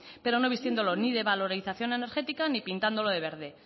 pero no vistiéndolo ni de valoración energética ni pintándolo de verde